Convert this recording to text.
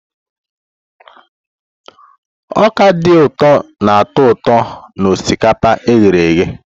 Ọka dị ụtọ na-atọ ụtọ na osikapa e ghere eghe.